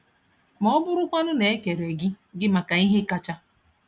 Ma ọ bụrụkwanụ na e kere gị gị maka ihe kacha?